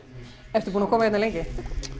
ertu búinn að koma hérna lengi